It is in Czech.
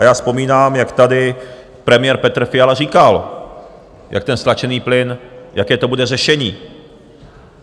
A já vzpomínám, jak tady premiér Petr Fiala říkal, jak ten stlačený plyn, jaké to bude řešení.